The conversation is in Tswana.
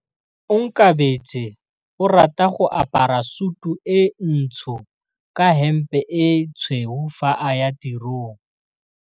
Onkabetse o rata go apara sutu e ntsho ka hempe e tshweu fa a ya tirong.